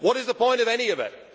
What is the point of any of